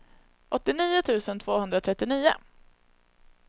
åttionio tusen tvåhundratrettionio